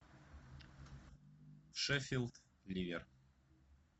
шеффилд ливер